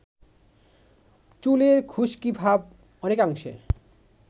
চুলের খুশকিভাব অনেকাংশে